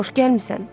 Xoş gəlmisən.